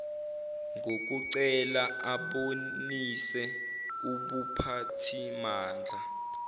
ngokucela abonise ubuphathimandla